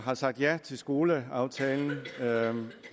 har sagt ja til skoleaftalen